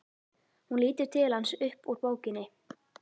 Hún lítur til hans upp úr bókinni.